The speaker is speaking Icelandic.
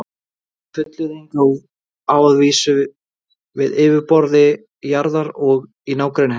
Þessi fullyrðing á að vísu við á yfirborði jarðar og í nágrenni hennar.